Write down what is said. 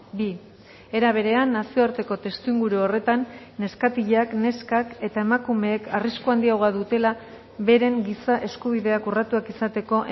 bi era berean nazioarteko testuinguru horretan neskatilak neskak eta emakumeek arrisku handiagoa dutela beren giza eskubideak urratuak izateko